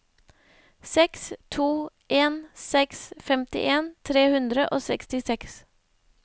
seks to en seks femtien tre hundre og sekstiseks